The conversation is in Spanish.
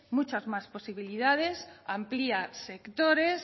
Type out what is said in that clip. muchas más posibilidades amplía sectores